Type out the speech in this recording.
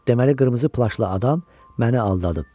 Deməli qırmızı plaşlı adam məni aldadıb.